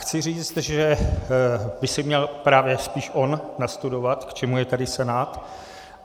Chci říci, že by si měl právě spíše on nastudovat, k čemu je tady Senát.